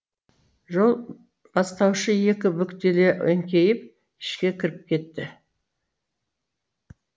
жол бастаушы екі бүктеле еңкейіп ішке кіріп кетті